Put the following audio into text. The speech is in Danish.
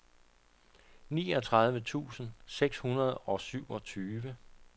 niogtredive tusind seks hundrede og syvogtyve